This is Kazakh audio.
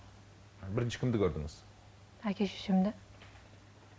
бірінші кімді көрдіңіз әке шешемді